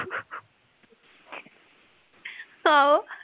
ਆਹੋ